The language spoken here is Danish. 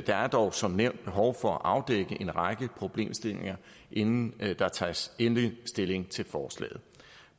der er dog som nævnt behov for at afdække en række problemstillinger inden der tages endelig stilling til forslaget